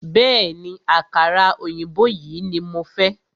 Bẹ̀ẹ́ni, àkàrà òyìnbó yìí ní mo fẹ́.